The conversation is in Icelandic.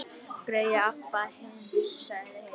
Grey Abba hin, sagði Heiða.